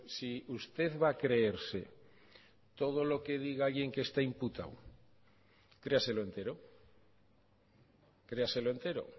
si usted va a creerse todo lo que diga alguien que está imputado créaselo entero créaselo entero